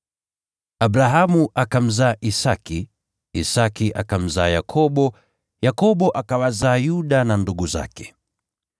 Abrahamu akamzaa Isaki, Isaki akamzaa Yakobo, Yakobo akawazaa Yuda na ndugu zake,